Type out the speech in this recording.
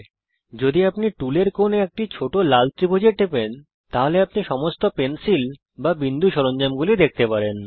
যদি আপনি টুলের কোণে একটি ছোট লাল ত্রিভুজে টেপেন তাহলে আপনি সমস্ত পেন্সিল বা বিন্দু সরঞ্জামগুলি দেখতে পাবেন